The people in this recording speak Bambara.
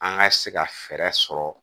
An ka se ka fɛɛrɛ sɔrɔ